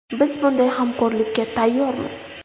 Biz bunday hamkorlikka tayyormiz.